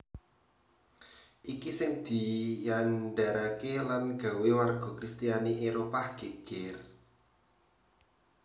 Iki sing diandharake lan gawé warga kristiani Éropah geger